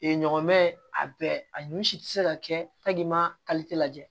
ɲɔgɔn mɛ a bɛɛ a nun si tɛ se ka kɛ ma lajɛ